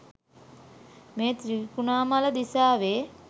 මෙය ත්‍රිකුණාමල දිසාවේ